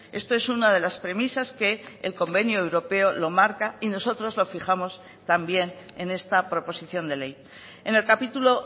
esto es una de las premisas que el convenio europeo lo marca y nosotros lo fijamos también en esta proposición de ley en el capítulo